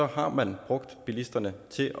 har man brugt bilisterne til